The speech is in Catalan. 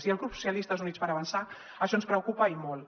i al grup socialistes i units per avançar això ens preocupa i molt